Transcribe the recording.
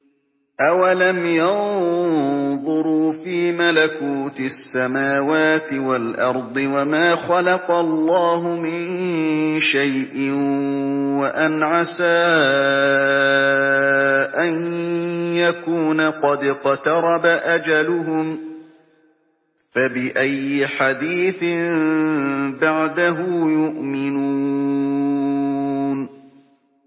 أَوَلَمْ يَنظُرُوا فِي مَلَكُوتِ السَّمَاوَاتِ وَالْأَرْضِ وَمَا خَلَقَ اللَّهُ مِن شَيْءٍ وَأَنْ عَسَىٰ أَن يَكُونَ قَدِ اقْتَرَبَ أَجَلُهُمْ ۖ فَبِأَيِّ حَدِيثٍ بَعْدَهُ يُؤْمِنُونَ